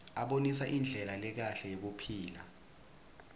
abonisa indlela lekahle yekuphila